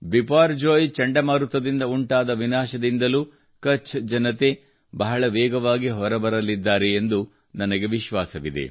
ಬಿಪರ್ಜೋಯ್ ಚಂಡಮಾರುತದಿಂದ ಉಂಟಾದ ವಿನಾಶದಿಂದಲೂ ಕಛ್ ಜನತೆ ಬಹಳ ವೇಗವಾಗಿ ಹೊರಬರಲಿದ್ದಾರೆ ಎಂದು ನನಗೆ ವಿಶ್ವಾಸವಿದೆ